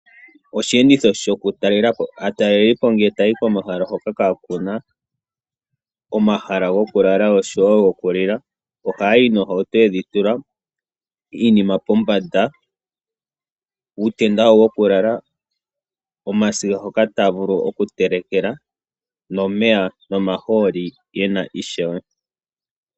Osheenditho shokutalela po. Aatalelipo ngele taa yi pomahala hoka kaaku na omahala gokulala, osho ep gokulela, ohaa yi noohauto ye dhi tula iinima pombanda, uutenda wokulala, omasiga hoka taya vulu okutelekela, nomeya nomahooli ye na ishewe.